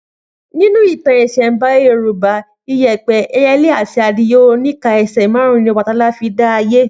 Nínú ìtàn ìsẹ̀nbáyé Yorùbá, iyẹ̀pẹ̀, ẹyẹlé àti adìyẹ oníka ẹsẹ̀ márùn-ún ni Ọbàtálá fi dá ayé